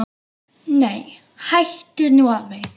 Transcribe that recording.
Nei, hættu nú alveg!